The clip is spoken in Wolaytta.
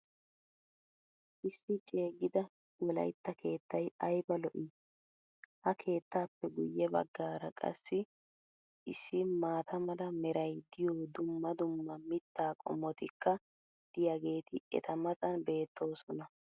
Issi ceeggida wolaytta keettay ayba lo'ii!! Ha keettaappe guye bagaara qassi issi maata mala meray diyo dumma dumma mitaa qommotikka diyaageeti eta matan beettoosona